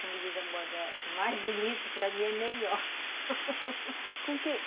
Como diz a moda, mais bonito para mim é melhor com quem